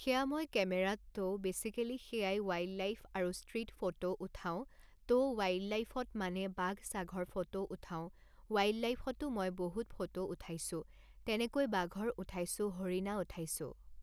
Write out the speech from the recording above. সেয়া মই কেমেৰাত ত' বেচিকেলী সেয়াই ৱাইল্ড লাইফ আৰু ষ্ট্ৰীট ফ'টো উঠাও ত' ৱাইল্ড লাইফত মানে বাঘ চাঘৰ ফ'টো উঠাও ৱাইল্ড লাইফতো মই বহুত ফ'টো উঠাইছোঁ তেনেকৈ বাঘৰ উঠাইছোঁ হৰিণা উঠাইছোঁ